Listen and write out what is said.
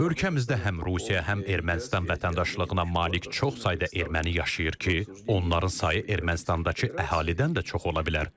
Ölkəmizdə həm Rusiya, həm Ermənistan vətəndaşlığına malik çox sayda erməni yaşayır ki, onların sayı Ermənistandakı əhalidən də çox ola bilər.